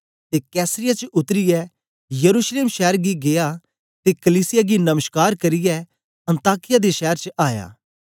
ते कैसरिया च उतरीयै यरूशलेम शैर गी गीया ते कलीसिया गी नमश्कार करियै अन्ताकिया दे शैर च आया